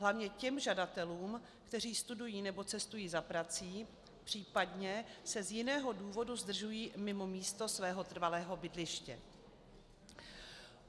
Hlavně těm žadatelům, kteří studují nebo cestují za prací, případně se z jiného důvodu zdržují mimo místo svého trvalého bydliště.